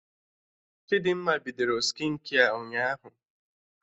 Chidimma bidoro skịnkia ụnyaahụ